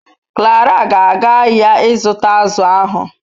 Clara ga aga ahia I zuta azu ahu